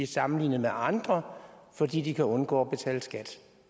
sammenlignet med andre fordi de kan undgå at betale skat